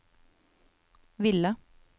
ville